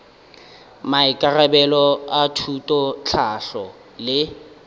maikarabelo a thuto tlhahlo le